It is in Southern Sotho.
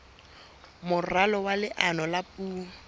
moralo wa leano la puo